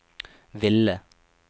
ville